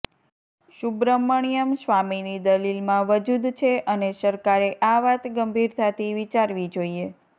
સુબ્રમણ્યમ સ્વામીની દલીલમાં વજૂદ છે અને સરકારે આ વાત ગંભીરતાથી વિચારવી જોઈએ